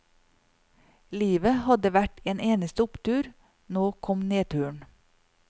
Livet hadde vært en eneste opptur, nå kom nedturen.